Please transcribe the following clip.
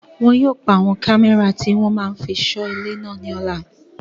Wọn yóò pa àwọn kámẹ́rà tó máa fí n sọ ilé náà ní ọ̀la